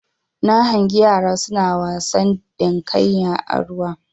Na hangi yara suna wasa dinkaya a ruwa